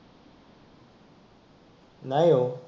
नाही ओ.